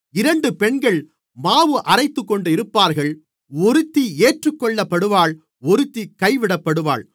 இரண்டு பெண்கள் மாவு அரைத்துக்கொண்டிருப்பார்கள் ஒருத்தி ஏற்றுக்கொள்ளப்படுவாள் ஒருத்தி கைவிடப்படுவாள்